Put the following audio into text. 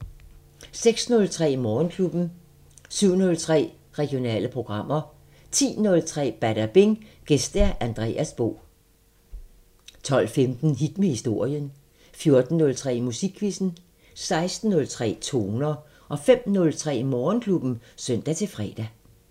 06:03: Morgenklubben 07:03: Regionale programmer 10:03: Badabing: Gæst Andreas Bo 12:15: Hit med historien 14:03: Musikquizzen 16:03: Toner 05:03: Morgenklubben (søn-fre)